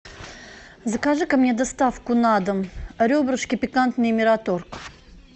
закажи ка мне доставку на дом ребрышки пикантные мираторг